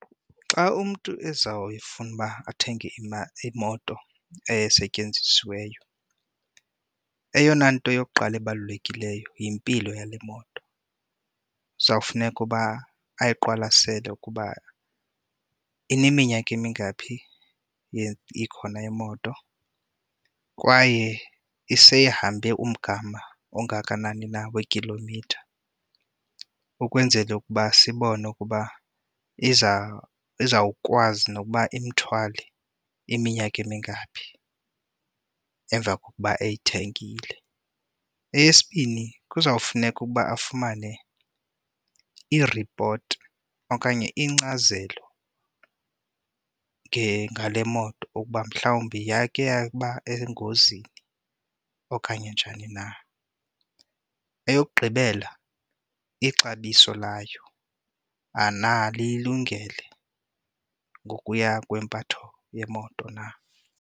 Xa umntu ezawufuna uba athenge imoto esetyenzisiweyo, eyona nto yokuqala ebalulekileyo yimpilo yale moto. Kuzawufuneka uba ayiqwalasele ukuba ineminyaka emingaphi ikhona imoto kwaye iseyihambe umgama ongakanani na weekhilomitha ukwenzela ukuba sibone ukuba iza izawukwazi na ukuba ithwale iminyaka emingaphi emva kokuba uyithengile. Eyesibini kuzawufuneka ukuba afumane iripoti okanye inkcazelo ngale moto ukuba mhlawumbi yayikhe yaba engozini okanye njani na. Eyokugqibela ixabiso layo uba na liyingele ngokuya kwempatho yemoto na.